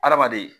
Adamaden